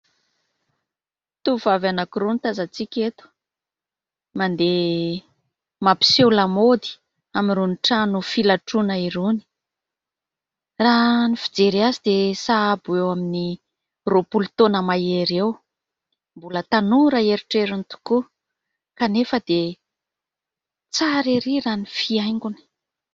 Tovovavy anankiroa no tazantsika eto. Mandeha mampiseho lamaody amin'irony trano filatroana irony. Raha ny fijery azy dia sahabo eo amin'ny roapolo taona mahery eo. Mbola tanora herotrerony tokoa kanefa dia tsara erỳ raha ny fihaingony.